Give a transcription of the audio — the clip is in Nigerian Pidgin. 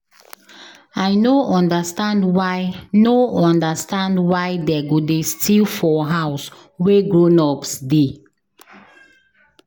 I no understand why no understand why dey go dey steal for house wey grown-ups dey